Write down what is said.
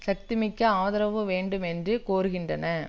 சக்தி மிக்க ஆதரவு வேணடும் என்றும் கோருகின்றன